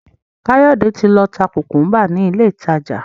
Kayode tí ló tá kukumba ní ilé ìtàjà.